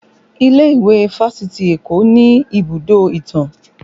Ilé ìwé fásitì Eko ni ibùdó ìtàn